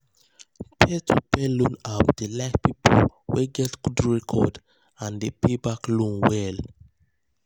peer-to-peer loan apps dey like people wey get good record and dey pay back loan well.